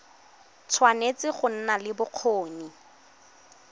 tshwanetse go nna le bokgoni